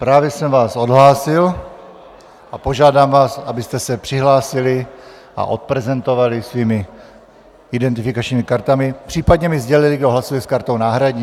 Právě jsem vás odhlásil a požádám vás, abyste se přihlásili a odprezentovali svými identifikačními kartami, případně mi sdělili, kdo hlasuje s kartou náhradní.